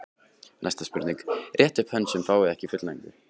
Næsta spurning: Réttið upp hönd sem fáið ekki fullnægingu.